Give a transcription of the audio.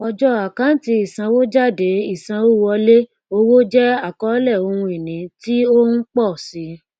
ọjọ àkáǹtí ìsanwójádeìsanwówọlé owó jẹ àkọlé ohun ìní tí o ń pọ sí